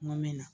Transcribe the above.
N go min na